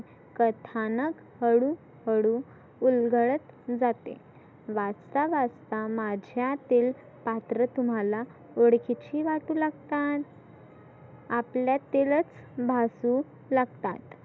कथानक हळु हळु उलगडत जाते. वाचता वाचता माझ्यातील पात्र तुम्हाला ओळखीची वाटु लागतात. आपल्यातीलच भासु लागतात.